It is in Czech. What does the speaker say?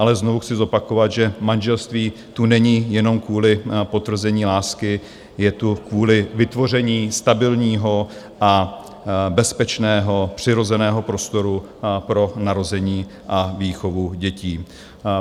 Ale znovu chci zopakovat, že manželství tu není jenom kvůli potvrzení lásky, je tu kvůli vytvoření stabilního a bezpečného přirozeného prostoru pro narození a výchovu dětí.